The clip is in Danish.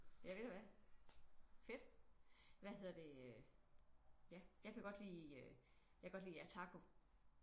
Ja ved du hvad fedt hvad hedder det øh ja jeg kan godt lige jeg kan lide Jataco